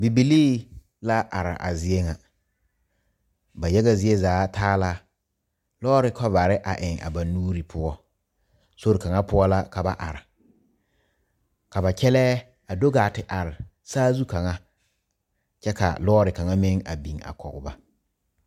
Bibilee la are a zie ŋa ba yaga zie zaa taa la lɔre kɔbare eŋ a ba nuure poɔ sori kaŋa poɔ la ka ba are ka ba kyɛle a do gaa te are saazu kaŋa kyɛ ka lɔre kaŋa meŋ a biŋ a kɔge ba.